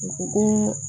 U ko ko